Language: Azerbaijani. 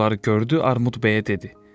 Bunları gördü, Armud bəyə dedi.